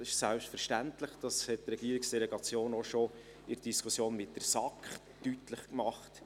Es ist selbstverständlich, und die Regierungsdelegation hat es bereits in der Diskussion mit der SAK deutlich gemacht: